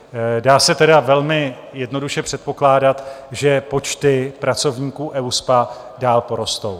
Dá se tedy velmi jednoduše předpokládat, že počty pracovníků EUSPA dál porostou.